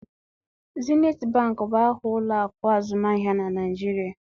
Zenit bank bụ aha ụlọ akụ azụmaahịa na Naịjirịa